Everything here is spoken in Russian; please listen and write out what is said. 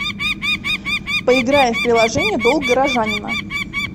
поиграем в приложение долг горожанина